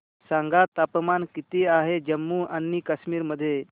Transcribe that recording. सांगा तापमान किती आहे जम्मू आणि कश्मीर मध्ये